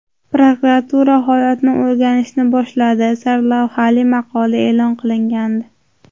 Prokuratura holatni o‘rganishni boshladi” sarlavhali maqola e’lon qilingandi .